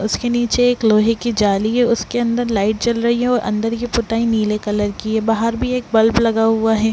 उसके नीचे एक लोहे की जाली है उसके अन्दर लाईट जल रही है और की अन्दर की पुताई नीले कलर की है बाहर भी एक बल्ब लगा हुआ है।